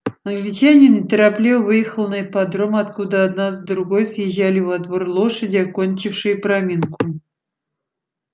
англичанин неторопливо выехал на ипподром откуда одна за другой съезжали во двор лошади окончившие проминку